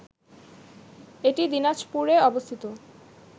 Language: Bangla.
এটি দিনাজপুরে অবস্থিত